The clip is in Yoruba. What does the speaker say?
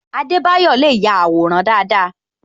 Adebayo le ya àwòrán dáadáa